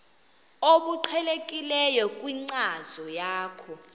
obuqhelekileyo kwinkcazo yakho